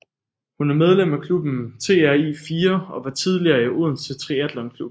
Hun er medlem af klubben TRI4 og var tidligere i Odense Triathlon Klub